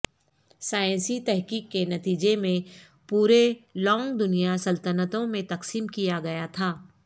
سائنسی تحقیق کے نتیجے میں پورے لونگ دنیا سلطنتوں میں تقسیم کیا گیا تھا